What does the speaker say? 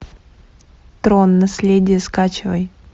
трон наследие скачивай